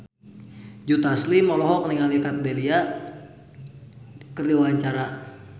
Joe Taslim olohok ningali Kat Dahlia keur diwawancara